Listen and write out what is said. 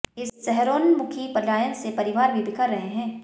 इस शहरोन्मुखी पलायन से परिवार भी बिखर रहे हैं